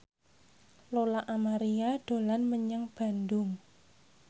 Lola Amaria dolan menyang Bandung